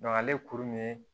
ale kuru min